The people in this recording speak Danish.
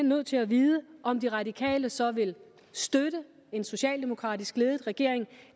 nødt til at vide om de radikale så vil støtte en socialdemokratisk ledet regering